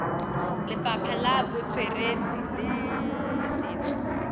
lefapha la botsweretshi le setso